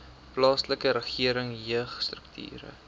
plaaslike regering jeugstrukture